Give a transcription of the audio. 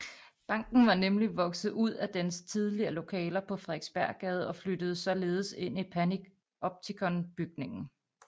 Banken var nemlig vokset ud af dens tidligere lokaler på Frederiksberggade og flyttede således ind i Panoptikonbygningen